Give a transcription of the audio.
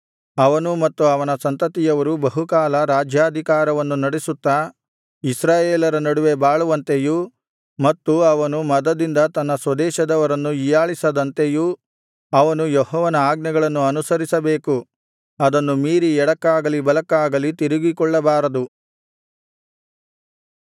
ಅವನೂ ಮತ್ತು ಅವನ ಸಂತತಿಯವರೂ ಬಹುಕಾಲ ರಾಜ್ಯಾಧಿಕಾರವನ್ನು ನಡಿಸುತ್ತಾ ಇಸ್ರಾಯೇಲರ ನಡುವೆ ಬಾಳುವಂತೆಯೂ ಮತ್ತು ಅವನು ಮದದಿಂದ ತನ್ನ ಸ್ವದೇಶದವರನ್ನು ಹೀಯಾಳಿಸದಂತೆಯೂ ಅವನು ಯೆಹೋವನ ಆಜ್ಞೆಗಳನ್ನು ಅನುಸರಿಸಬೇಕು ಅದನ್ನು ಮೀರಿ ಎಡಕ್ಕಾಗಲಿ ಬಲಕ್ಕಾಗಲಿ ತಿರುಗಿಕೊಳ್ಳಬಾರದು